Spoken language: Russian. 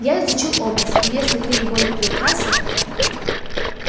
я изучил образ и если ты его не приукрасил